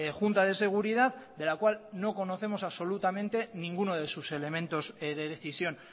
junta de seguridad de la cual no conocemos absolutamente ninguno de sus elementos de decisión